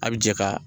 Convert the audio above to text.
A' bi jɛ ka